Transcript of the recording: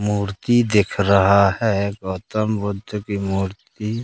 मूर्ति दिख रहा है गौतम बुद्ध की मूर्ति--